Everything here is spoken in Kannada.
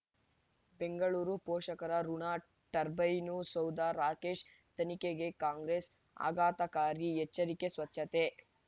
ಬೆಂಗಳೂರು ಪೋಷಕರಋಣ ಟರ್ಬೈನು ಸೌಧ ರಾಕೇಶ್ ತನಿಖೆಗೆ ಕಾಂಗ್ರೆಸ್ ಆಘಾತಕಾರಿ ಎಚ್ಚರಿಕೆ ಸ್ವಚ್ಛತೆ